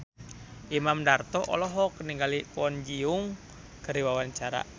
Imam Darto olohok ningali Kwon Ji Yong keur diwawancara